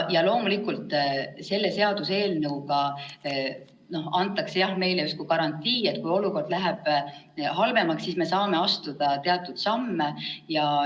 Loomulikult selle seaduseelnõuga antakse meile justkui garantii, et kui olukord läheb halvemaks, siis me saame astuda teatud samme.